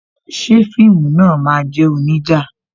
Ṣé fíìmù náà máa jẹ́ onija?